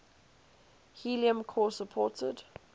helium core supported